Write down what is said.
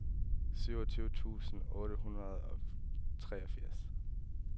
syvogtyve tusind otte hundrede og treogfirs